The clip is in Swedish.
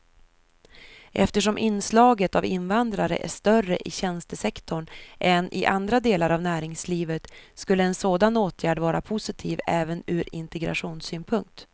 Eftersom inslaget av invandrare är större i tjänstesektorn än i andra delar av näringslivet skulle en sådan åtgärd vara positiv även ur integrationssynpunkt.